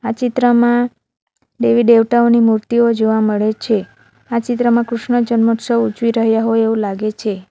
ચિત્રમાં દેવી દેવતાઓની મૂર્તિઓ જોવા મળે છે આ ચિત્રમાં કૃષ્ણ જન્મોત્સવ ઉજવી રહ્યા હોય એવું લાગે છે.